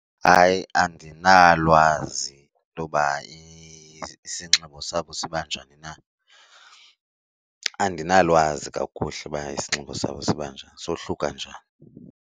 Hayi, andinalwazi intoba isinxibo sabo siba njani na. Andinalwazi kakuhle uba isinxibo sabo siba njani sohluka njani.